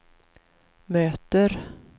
möter